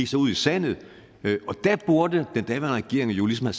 så ud i sandet og der burde den daværende regering jo ligesom